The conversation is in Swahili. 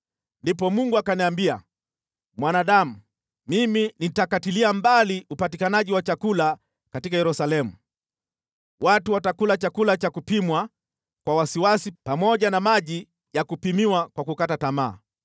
Ndipo Mungu akaniambia, “Mwanadamu, mimi nitakatilia mbali upatikanaji wa chakula katika Yerusalemu. Watu watakula chakula cha kupimwa kwa wasiwasi pamoja na maji ya kupimiwa kwa kukata tamaa,